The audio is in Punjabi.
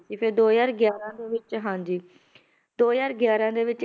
ਤੇ ਫਿਰ ਦੋ ਹਜ਼ਾਰ ਗਿਆਰਾਂ ਦੇ ਵਿੱਚ ਹਾਂਜੀ ਦੋ ਹਜ਼ਾਰ ਗਿਆਰਾਂ ਦੇ ਵਿੱਚ